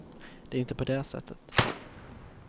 Det är inte på det sättet.